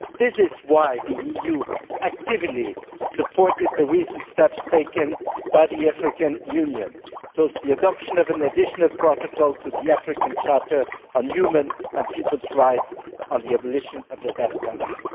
This is why the EU actively supported the recent steps taken by the African Union towards the adoption of an additional protocol to the African Charter on Human and Peoples' Rights on the abolition of the death penalty.